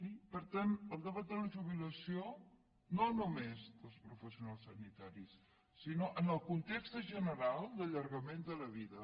i per tant el debat de la jubilació no només els professionals sanitaris sinó en el context general d’allargament de la vida